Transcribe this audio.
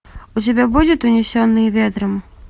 у тебя будет унесенные ветром